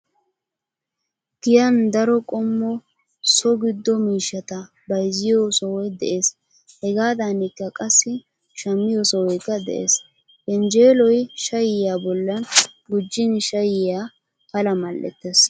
Giyaan daro qommo so giddo miishshata bayzziyo sohoy de'ees, Hegaadaanikka qassi shammiyo sohoykka de'ees. Yenjeeloy shayyiyaa bollan gujjin shayyiyaa Pala mal'ettees.